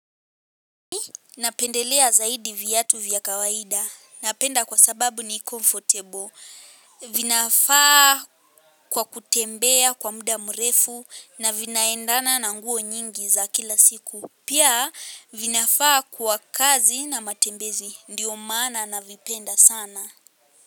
Napendelea zaidi viatu vya kawaida. Napenda kwa sababu ni comfortable. Vinafaa kwa kutembea kwa muda mrefu na vinaendana na nguo nyingi za kila siku. Pia vinafaa kwa kazi na matembezi. Ndiyo maana na vipenda sana.